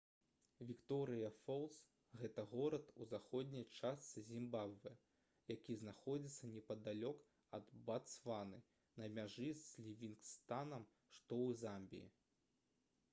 вікторыя фолс гэта горад у заходняй частцы зімбабвэ які знаходзіцца непадалёк ад батсваны на мяжы з лівінгстанам што ў замбіі